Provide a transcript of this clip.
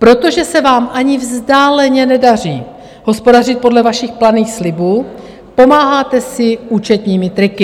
Protože se vám ani vzdáleně nedaří hospodařit podle vašich planých slibů, pomáháte si účetními triky.